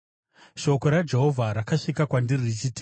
Shoko raJehovha rakasvika kwandiri richiti,